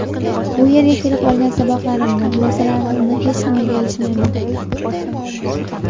Bu yerga kelib olgan saboqlarimni, xulosalarimni hech nimaga alishmayman.